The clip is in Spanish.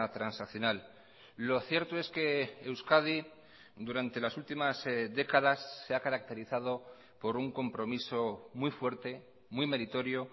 transaccional lo cierto es que euskadi durante las últimas décadas se ha caracterizado por un compromiso muy fuerte muy meritorio